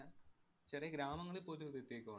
അഹ് ചെറിയ ഗ്രാമങ്ങളില്‍ പോലും ഇത് എത്തിയേക്കുവാ.